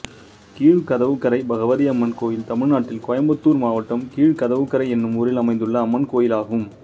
கீழ்கதவுக்கரை பகவதியம்மன் கோயில் தமிழ்நாட்டில் கோயம்புத்தூர் மாவட்டம் கீழ்கதவுக்கரை என்னும் ஊரில் அமைந்துள்ள அம்மன் கோயிலாகும்